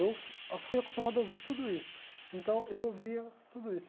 Eu fui acostumado a ouvir tudo isso, então eu ouvia tudo isso.